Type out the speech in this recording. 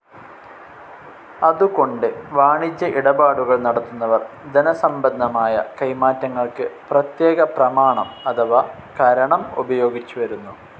അതുകൊണ്ട് വാണിജ്യ ഇടപാടുകൾ നടത്തുന്നവർ ധനസംബന്ധമായ കൈമാറ്റങ്ങൾക്ക് പ്രത്യേക പ്രമാണം അഥവാ കരണം ഉപയോഗിച്ചുവരുന്നു.